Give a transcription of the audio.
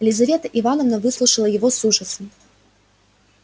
лизавета ивановна выслушала его с ужасом